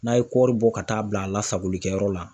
N'a ye kɔri bɔ ka taa bila a lasagolikɛyɔrɔ la